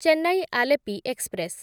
Chennai Alleppey express